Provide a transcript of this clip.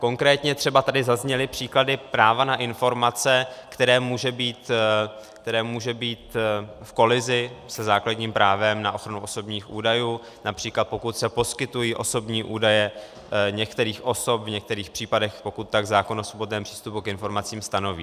Konkrétně třeba tady zazněly příklady práva na informace, které může být v kolizi se základním právem na ochranu osobních údajů, například pokud se poskytují osobní údaje některých osob v některých případech, pokud tak zákon o svobodném přístupu k informacím stanoví.